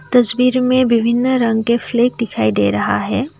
तस्वीर में विभिन्न रंग के फ्लैग दिखाई दे रहा हैं।